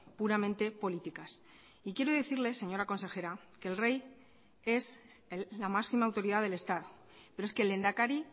puramente políticas y quiero decirle señora consejera que el rey es la máxima autoridad del estado pero es que el lehendakari